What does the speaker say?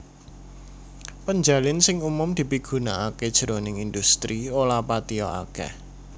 Penjalin sing umum dipigunakaké jroning indhustri ora patiya akèh